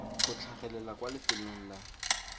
go tlhagelela kwa lefelong la